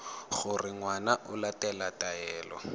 gore ngwana o latela taelo